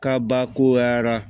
Kabakoyara